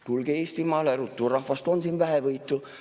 Tulge Eestimaale ruttu, rahvast on siin vähevõitu.